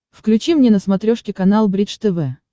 включи мне на смотрешке канал бридж тв